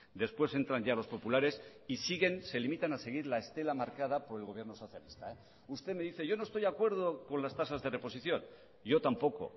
después entran ya los populares y siguen se limitan a seguir la estela marcada por el gobierno socialista usted me dice yo no estoy de acuerdo con las tasas de reposición yo tampoco